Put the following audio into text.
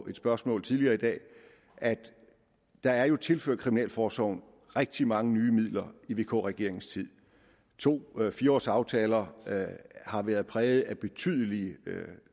et spørgsmål tidligere i dag at der jo er tilført kriminalforsorgen rigtig mange nye midler i vk regeringens tid to fire års aftaler har været præget af betydelige